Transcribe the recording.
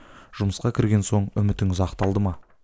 жұмысқа кірген соң үмітіңіз ақталды ма